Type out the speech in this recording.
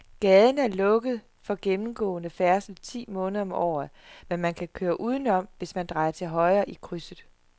Gaden er lukket for gennemgående færdsel ti måneder om året, men man kan køre udenom, hvis man drejer til højre i krydset.